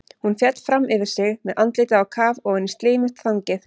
Hún féll fram yfir sig með andlitið á kaf ofan í slímugt þangið.